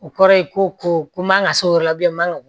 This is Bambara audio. O kɔrɔ ye ko ko ko man kan ka s'o yɔrɔ la bilen a man ka bɔ